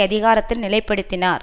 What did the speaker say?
அதிகாரத்தில் நிலைப்படுத்தினார்